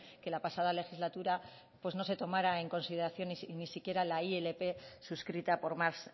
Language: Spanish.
que la pasada legislatura pues no se tomara en consideración ni siquiera la ilp suscrita por más